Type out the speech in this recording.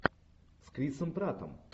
с крисом праттом